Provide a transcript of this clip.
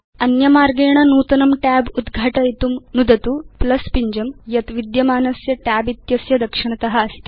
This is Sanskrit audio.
अन्यथा अपि नूतनं tab उद्घाटयितुं शक्यं तन्निमित्तं नुदतु पिञ्जं यत् विद्यमानस्य tab इत्यस्य दक्षिणत अस्ति